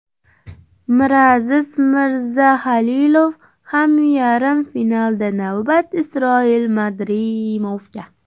Miraziz Mirzahalilov ham yarim finalda, navbat Isroil Madrimovga.